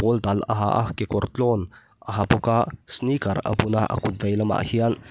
pawl dal a ha a kekawr tlawn a ha bawk a sneeker a bun a a kut veilamah hian --